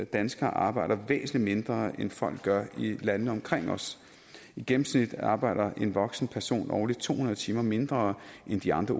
danskere arbejder væsentlig mindre end folk gør i landene omkring os i gennemsnit arbejder en voksen person årligt to hundrede timer mindre end i de andre